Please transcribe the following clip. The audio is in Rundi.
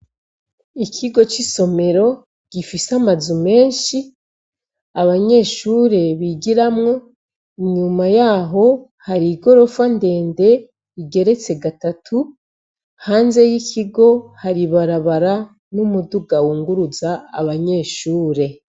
Ikigo c'isomero gifise amazu menshi abanyeshure bigiramwo, inyuma yaho hari igorofa ndende igeretse gatatu, hanze y'ikigo hari ibarabara n'umuduga wunguruza abanyeshure.